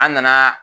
An nana